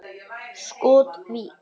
Skot: Vík.